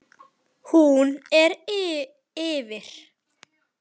Hún lifir.